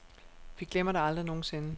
Vi glemmer det aldrig nogensinde.